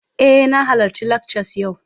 Eh, na halarci lakcas yau